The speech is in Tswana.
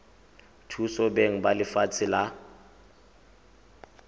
thusa beng ba lefatshe la